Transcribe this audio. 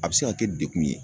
A be se ka kɛ dekun ye